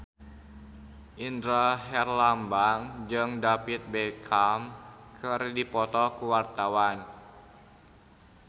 Indra Herlambang jeung David Beckham keur dipoto ku wartawan